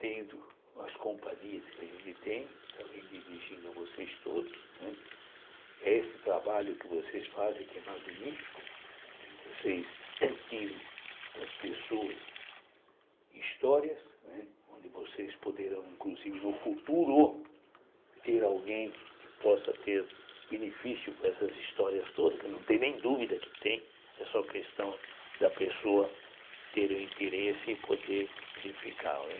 tendo as companhias que a gente tem, também dirigindo a vocês todos, né, é esse trabalho que vocês fazem que é magnífico, que vocês tiram das pessoas histórias, né, onde vocês poderão, inclusive, no futuro, ter alguém que possa ter benefício com essas histórias todas, que não tem nem dúvida que tem, é só questão da pessoa ter o interesse e poder verificar, né,